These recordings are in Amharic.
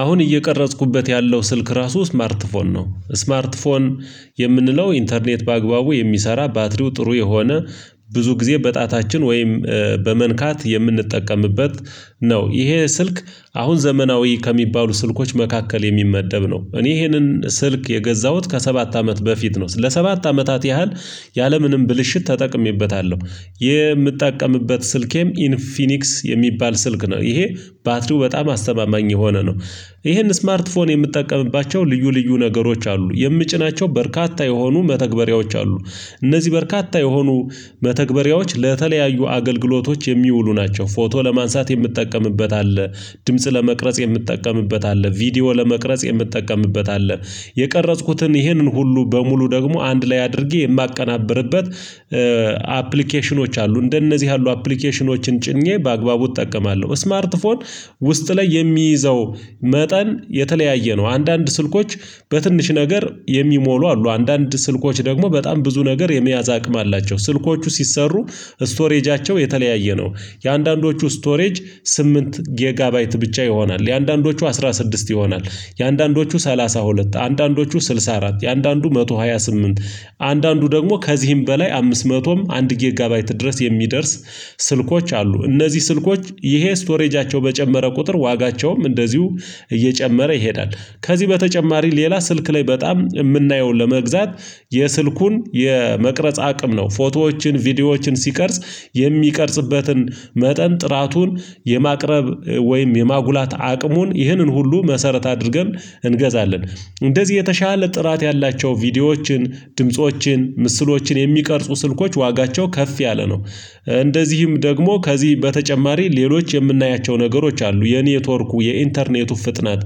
አሁን እየቀረጽኩበት ያለው ስልክ ራሱ ስማርት ፎን ነው ስማርት ፎን የምንለው ኢንተርኔት በአግባቡ የሚሰራ ባትሪው ጥሩ የሆነ ብዙ ጊዜ በጣታችን ወይም በመንካት የምንጠቀምበት ነው። ይሄ ስልክ አሁን ዘመናዊ ከሚባሉ ስልኮች መካከል የሚመደብ ነው። እኔ ይሄንን ስልክ የገዛሁት ከሰባት አመት በፊት ነው። ለሰባት አመታት ያህል ያለምንም ብልሽት ተጠቅሜበታለሁ። የምጠቀምበት ስልኬም ኢንፊኒክስ የሚባል ስልክ ነው። ይሄ ባትሪው በጣም አስተማማኝ የሆነ ነው። ይሄን ስማርት ስልክ የምትጠቀምባቸው ልዩ ልዩ ነገሮች አሉ የምጭናቸው በርካታ የሆኑ መተግበሪያዎች አሉ። እነዚህ በርካታ የሆኑ መተግበሪያዎች ለተለያዩ አገልግሎቶች የሚውሉ ናቸው። ፎቶ ለማንሳት የምጠቀምበት አለ። ድምጽ ለመቅረጽ የምጠቀምበት አለ። ቪዲዮ ለመቅረጽ የምጠቀምበት አለ። የቀረጽኩትን ይህንን ሁሉ በሙሉ ደግሞ አንድ ላይ አድርጌ የማቀናብርበት አፕሊኬሽኖች አሉ እንደነዚህ ያሉ አፕሊኬሽኖችን ጭኜ በአግባቡ እጠቀማለሁ። ስማርት ፎን ውስጥ ላይ የሚይዘው መጠን የተለያየ ነው። አንዳንድ ስልኮች በትንሽ ነገር የሚሞሉ አሉ። አንዳንድ ስልኮች ደግሞ በጣም ብዙ ነገር የመያዝ አቅም አላቸው። ስልኮቹ ሲሰሩ ስቶሬጃቸው የተለያየ ነው። የአንዳንዶቹ ስቶሬጅ ስምንት ጊጋ ባይት ብቻ ይሆናል። የአንዳንዶቹ አስራ ስድስት ይሆናል። የአንዳንዶቹ ሰላሳ ሁለት አንዳንዶቹ ስልሳ አራት የአንዳንዱ መቶ ሃያ ስምንት አንዳንዱ ደግሞ ከዚህም በላይ አምስት ምቶም አንድ ጌጋባይት ድረስ የሚደርስ። ስልኮች አሉ። እነዚህ ስልኮች ይሄ ስቶሬጃቸው በጨመረ ቁጥር ዋጋቸውም እንደዚሁ እየጨመረ ይሄዳል። ከዚህ በተጨማሪ ሌላ ስልክ ላይ በጣም የምናየውን ለመግዛት የስልኩን የመቅረጽ አቅም ነው። ፎቶዎችን ቪዲዮዎችን ሲቀርጽ የሚቀርጽበትን መጠን ጥራቱን የማቅረብ ወይም የማጉላት አቅሙን ይህንን ሁሉ መሰረት አድርገን እንገዛለን። እንደዚህ የተሻለ ጥራት ያላቸው ቪዲዮዎችን ድምፆችን ምስሎችን የሚቀርጹ ስልኮች ዋጋቸው ከፍ ያለ ነው። እንደዚህም ደግሞ ከዚህ በተጨማሪ ሌሎች የምናያቸው ነገሮች አሉ። የኔትወርኩ የኢንተርኔቱ ፍጥነት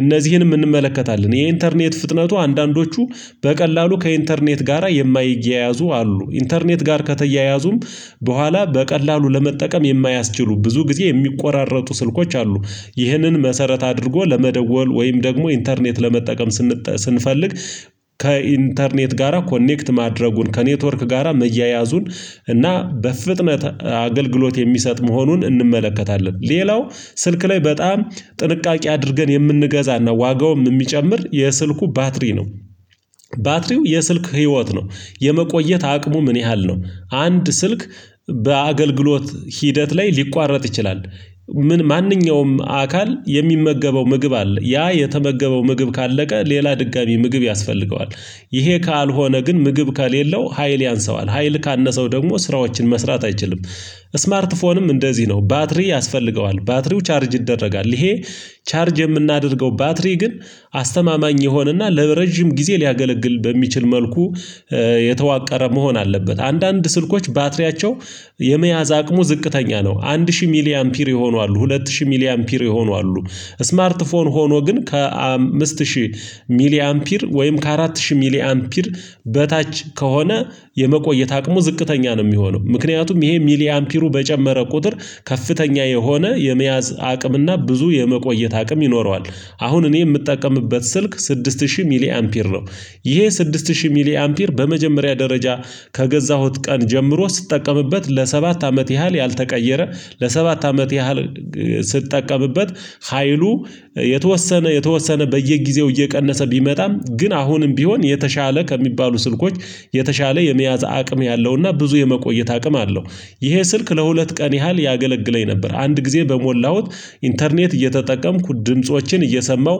እነዚህንም እንመለከታለን። የኢንተርኔት ፍጥነቱ አንዳንዶቹ በቀላሉ ከኢንተርኔት ጋራ የማይያዙ አሉ። ኢንተርኔት ጋር ከተያያዙም በኋላ በቀላሉ ለመጠቀም የማያስችሉ ብዙ ጊዜ የሚቆራረጡ ስልኮች አሉ። ይህንን መሰረት አድርጎ ለመደወል ወይም ደግሞ ኢንተርኔት ለመጠቀም ስንፈልግ ከኢንተርኔት ጋራ ኮኔክት ማድረጉን ከኔትወርክ ጋራ መያያዙን እና በፍጥነት አገልግሎት የሚሰጥ መሆኑን እንመለከታለን። ሌላው ስልክ ላይ በጣም ጥንቃቄ አድርገን የምንገዛና ዋጋውን የሚጨምር የስልኩ ባትሪ ነው። ባትሪው የስልክ ህይወት ነው። የመቆየት አቅሙ ምን ያህል ነው? አንድ ስልክ በአገልግሎት ሂደት ላይ ሊቋረጥ ይችላል። ምን ማንኛውም አካል የሚመገበው ምግብ አለ ያ የተመገበው ምግብ ካለቀ ሌላ ድጋሚ ምግብ ያስፈልገዋል። ይሄ ካልሆነ ግን ምግብ ከሌለው ሀይል ያንሰዋል ሀይል ካነሰው ደግሞ ስራዎችን መስራት አይችልም። ስማርት ፎንም እንደዚህ ነው ባትሪ ያስፈልገዋል ባትሪው ቻርጅ ይደረጋል። ይሄ ቻርጅ የምናደርገው ባትሪ ግን አስተማማኝ የሆነና ለረጅም ጊዜ ሊያገለግል በሚችል መልኩ የተዋቀረ መሆን አለበት። አንዳንድ ስልኮች ባትሪያቸው የመያዝ አቅሙ ዝቅተኛ ነው። አንድ ሺህ ሚሊ አምፒር የሆኑ አሉ ሁለት ሺህ ሚሊ አምፒር የሆኑ አሉ። ስማርት ፎን ሆኖ ግን ከአምስት ሺህ ሚሊ አምፒር ወይም ከአራት ሺህ ሚሊ አምፒር በታች ከሆነ የመቆየት አቅሙ ዝቅተኛ ነው። የሚሆነው ምክንያቱም ይሄ ሚሊ አምፒሩ በጨመረ ቁጥር ከፍተኛ የሆነ የመያዝ አቅም እና ብዙ የመቆየት አቅም ይኖረዋል። አሁን እኔ የምጠቀምበት ስልክ ስድስት ሺህ ሚሊ አምፒር ነው። ይሄ ስድስት ሺህ ሚሊ አምፒር በመጀመሪያ ደረጃ ከገዛሁት ቀን ጀምሮ ስጠቀምበት ለሰባት አመት ያህል ያልተቀየረ ለሰባት አመት ያህል ስጠቀምበት ሀይሉ የተወሰነ የተወሰነ በየጊዜው እየቀነሰ ቢመጣም ግን አሁንም ቢሆን የተሻለ ከሚባሉ ስልኮች የተሻለ የመያዝ አቅም ያለውና ብዙ የመቆየት አቅም አለው። ይሄ ስልክ ለሁለት ቀን ያህል ያገለግለኝ ነበር አንድ ጊዜ በሞላሁት ኢንተርኔት እየተጠቀምኩ ድምፆችን እየሰማሁ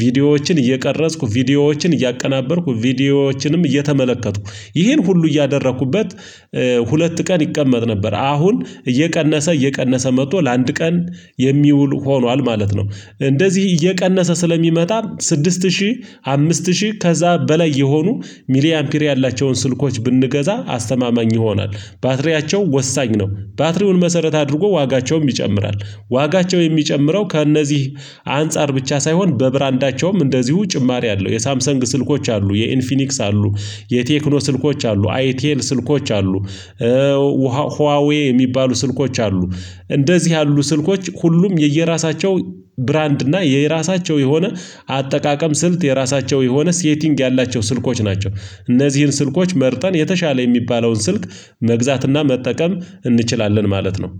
ቪዲዮዎችን እየቀረጽኩ ቪዲዮዎችን እያቀናበርኩ ቪዲዮዎችንም እየተመለከትኩ ይሄን ሁሉ እያደረኩበት ሁለት ቀን ይቀመጥ ነበር አሁን እየቀነሰ እየቀነሰ መጥቶ ለአንድ ቀን የሚውል ሆኗል ማለት ነው። እንደዚህ እየቀነሰ ስለሚመጣ ስድስት ሺህ አምስት ሺህ ከዛ በላይ የሆኑ ሚሊ አምፒር ያላቸውን ስልኮች ብንገዛ አስተማማኝ ይሆናል። ባትሪያቸው ወሳኝ ነው። ባትሪውን መሰረት አድርጎ ዋጋቸውም ይጨምራል። ዋጋቸው የሚጨምረው ከእነዚህ አንፃር ብቻ ሳይሆን በብራንዳቸውም እንደዚሁ ጭማሪ አለው። የሳምሰንግ ስልኮች አሉ የኢንፊኒክስ አሉ። የቴክኖ ስልኮች አሉ አይቴል ስልኮች አሉ። ህዋዌ የሚባሉ ስልኮች አሉ። እንደዚህ ያሉ ስልኮች ሁሉም የየራሳቸው ብራንድ እና የየራሳቸው የሆነ አጠቃቀም ስልት የራሳቸው የሆነ ሴቲንግ ያላቸው ስልኮች ናቸው። እነዚህን ስልኮች መርጠን የተሻለ የሚባለውን ስልክ መግዛትና መጠቀም እንችላለን ማለት ነው